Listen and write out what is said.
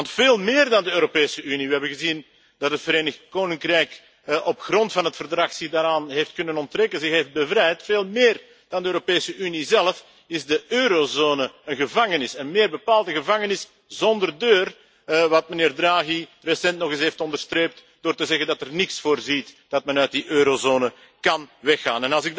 Want veel meer dan de Europese Unie we hebben gezien dat het Verenigd Koninkrijk zich op grond van het Verdrag daaraan heeft kunnen onttrekken, zich heeft bevrijd veel meer dan de Europese Unie zelf, is de eurozone een gevangenis, en meer bepaald een gevangenis zonder deur, wat meneer Draghi recent nog eens heeft onderstreept door te zeggen dat nergens is voorzien dat men uit die eurozone kan weggaan.